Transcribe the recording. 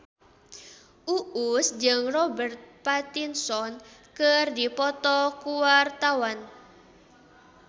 Uus jeung Robert Pattinson keur dipoto ku wartawan